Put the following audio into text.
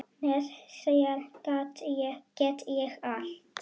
Með þér get ég allt.